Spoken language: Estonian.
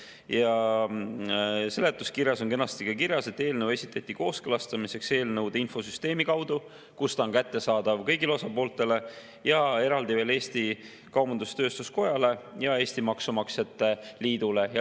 Ja seletuskirjas on kenasti kirjas, et eelnõu esitati kooskõlastamiseks eelnõude infosüsteemi kaudu, kus ta on kättesaadav kõigile osapooltele, ja eraldi veel Eesti Kaubandus-Tööstuskojale ja Eesti Maksumaksjate Liidule.